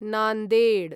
Nanded